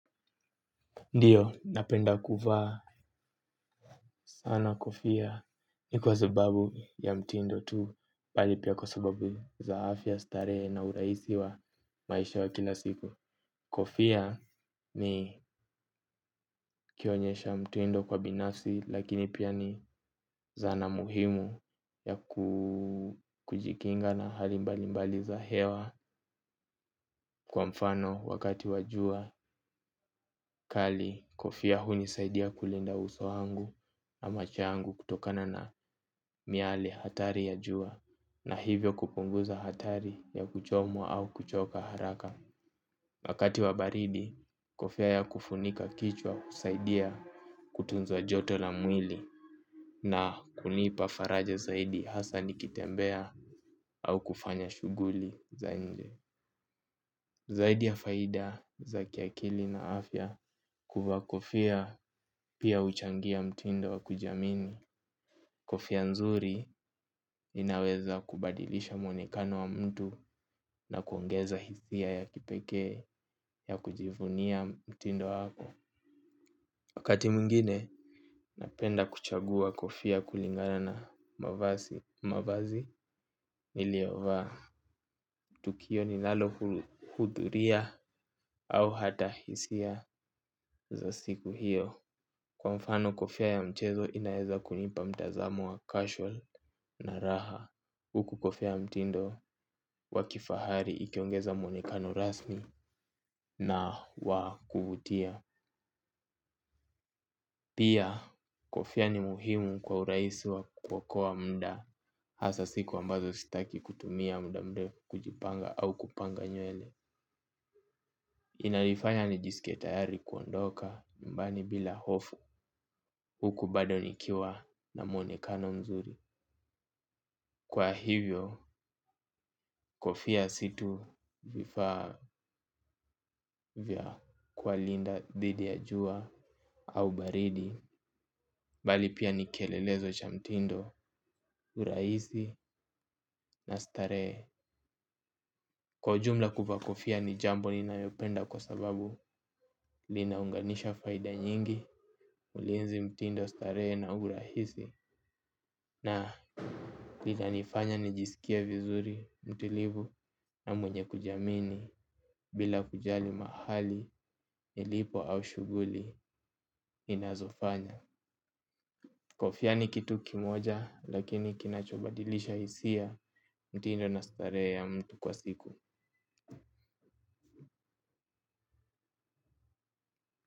Ndiyo napenda kuvaa sana kofia si kwa sababu ya mtindo tu bali pia kwa sababu za afya starehe na urahisi wa maisha wa kila siku. Kofia ni kionyesha mtindo kwa binasi lakini pia ni zana muhimu ya kujikinga na hali mbalimbali za hewa kwa mfano wakati wa jua kali kofia hunisaidia kulinda uso wangu ama changu kutokana na miale hatari ya jua na hivyo kupunguza hatari ya kuchomwa au kuchoka haraka. Wakati wa baridi kofia ya kufunika kichwa husaidia kutunza joto la mwili na kunipa faraja hasa nikitembea au kufanya shughuli za nje zaidi ya faida za kiakili na afya kuvaa kofia pia huchangia mtindo wa kujiamini kofia mzuri inaweza kubadilisha muonekano wa mtu na kuongeza hisia ya kipekee ya kujivunia mtindo wako. Wakati mwingine napenda kuchagua kofia kulingana na mavazi niliyovaa. Tukio ninalo hudhuria au hata hisia za siku hiyo. Kwa mfano kofia ya mchezo inaweza kunipa mtazamo wa casual na raha. Huku kofia ya mtindo wa kifahari ikiongeza muonekano rasmi na wa kuvutia. Pia kofia ni muhimu kwa urahisi wa kuokoa muda hasa siku ambazo sitaki kutumia muda mrefu kujipanga au kupanga nywele. Inanifanya nijisike tayari kuondoka nyumbani bila hofu huku bado nikiwa na muonekano mzuri. Kwa hivyo kofia si tu vifaa vya kuwalinda dhidi ya jua au baridi bali pia ni kielelezo cha mtindo urahisi na starehe. Kwa ujumla kuvaa kofia ni jambo ninayopenda kwa sababu linaunganisha faida nyingi ulinzi mtindo starehe na urahisi na linanifanya nijisikie vizuri mtulivu na mwenye kujiamini. Bila kujali mahali ilipo au shughuli inazofanya kofia ni kitu kimoja lakini kinachobadilisha hisia. Mtindo na starehe ya mtu kwa siku.